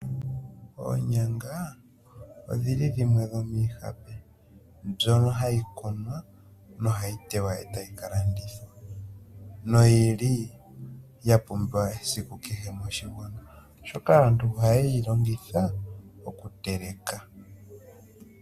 Oonyanga odhili dhimwe dhomiihape mbyono hayi kunwa nohayi tewa etayi ka landithwa noyili ya pumbiwa esiku kehe moshigwana oshoka aantu oheyi longitha okuteleka.